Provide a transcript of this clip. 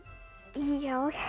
já